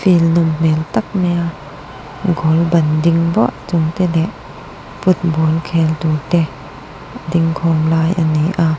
field nawm hmel tak mai a goal ban ding vah chung te leh football khel tur te dingkhawm lai ani a.